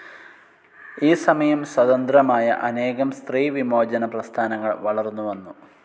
ഈ സമയം സ്വതന്ത്രമായ അനേകം സ്ത്രീ വിമോചന പ്രസ്ഥാനങ്ങൽ വളർന്നു വന്നു.